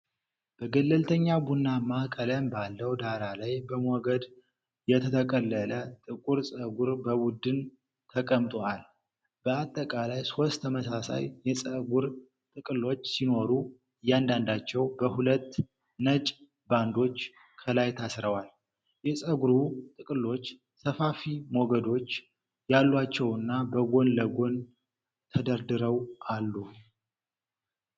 በገለልተኛ ቡናማ ቀለም ባለው ዳራ ላይ በሞገድ የተጠቀለለ ጥቁር ፀጉር በቡድን ተቀምጦአል። በአጠቃላይ ሦስት ተመሳሳይ የፀጉር ጥቅሎች ሲኖሩ፣ እያንዳንዳቸው በሁለት ነጭ ባንዶች ከላይ ታስረዋል። የፀጉሩ ጥቅሎች ሰፋፊ ሞገዶች ያሏቸውና በጎን ለጎን ተደርድረው አሉ።